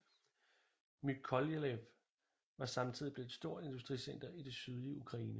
Mykolajiv var samtidig blevet et stort industricenter i det sydlige Ukraine